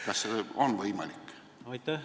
Kas see on tulevikus võimalik?